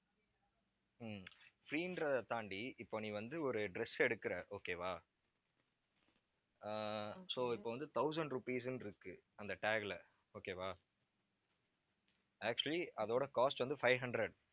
ஹம் free ன்றதைத் தாண்டி இப்போ நீ வந்து, ஒரு dress எடுக்கறே okay வா ஆஹ் so இப்ப வந்து, thousand rupees ன்னு இருக்கு அந்த tag ல okay வா actually அதோட cost வந்து, five hundred